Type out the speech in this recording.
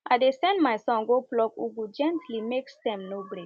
i dey send my son go pluck ugu gently make stem no break